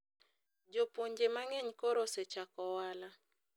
jopuonje mang'eny koro osechako ohala